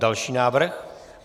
Další návrh.